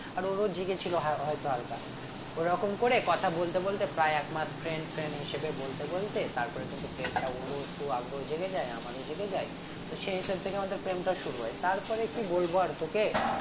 আর ওর ও জেগেছিলো হয়তো হালকা ওরকম করে কথা বলতে বলতে প্রায় এক মাস friend friend হিসেবে বলতে বলতে তারপরে কিন্তু প্রেমটা ওর ও একটু আগ্রহ জেগে যাই আমারও জেগে যাই তো সেই হিসাব থেকে আমাদের প্রেমটা শুরু হয় তারপরে কি বলবো আর তোকে